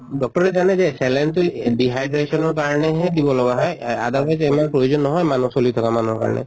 doctor য়ে জানে যে saline টো dehydration ৰ কাৰণেহে দিব লগা হয় এহ otherwise ইমান প্ৰয়োজন নহয় মানুহ চলি থকা মানুহৰ কাৰিণে